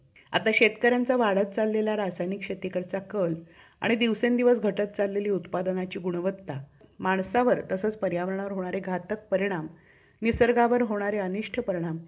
आता शेतकऱ्यांचा वाढत चाललेला रासायनिक शेतीकडचा कल आणि दिवसेंदिवस घटत चाललेली उत्पादनाची गुणवत्ता, माणसावर तसेच पर्यावरणावर होणारे घातक परिणाम, निसर्गावर होणारे अनिष्ठ परिणाम